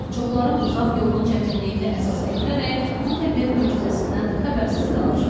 Çoxları uzaq yolun çətinliyini əsas gətirərək bu təbiət möcüzəsindən xəbərsiz qalır.